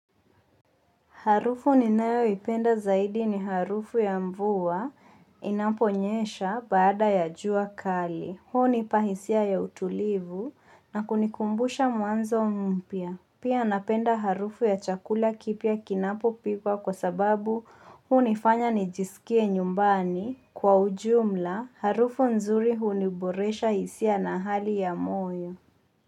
Harufu ninayoipenda zaidi ni harufu ya mvua inaponyesha baada ya jua kali. Hunipa hisia ya utulivu na kunikumbusha mwanzo mpya. Pia napenda harufu ya chakula kipia kinapopikwa kwa sababu hunifanya nijisikie nyumbani. Kwa ujumla, harufu nzuri huniboresha hisia na hali ya moyo.